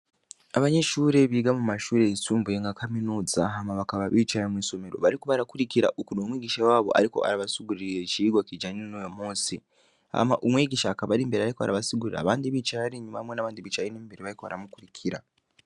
Abanyeshure biga mu mashure yisumbuye nka kaminuza, hama bakaba bicaye mw'isomero bariko barakurikira ukuntu umwigisha wabo ariko arabasigurira icigwa kijanye n'uwo munsi. Hama umwigisha akaba ari imbere ariko arabasigurira abandi bicaye hariya inyuma hamwe n'abandi bicaye ino imbere bariko baramukurikira.